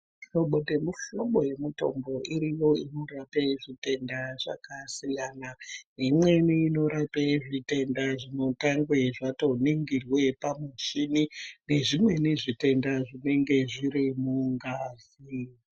Hlobo nemu hlobo ye mutombo iriyo inorape zvitenda zvaka siyana imweni inorape zvitenda zvino tange zvato ningirwe pa muchini ne zvimweni zvitenda zvinenge zviri mungazi.